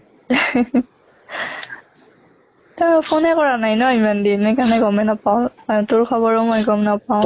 তই phone কৰা নাই ন ইমান দিন হেই কাৰণে গমে নাপাৱ, তোৰ খবৰ মই গম নাপাওঁ